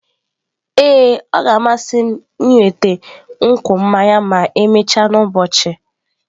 Ee, ọ ga-amasị m ịnweta nkwụ mmanya ma emechaa n'ụbọchị.